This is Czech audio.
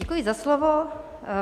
Děkuji za slovo.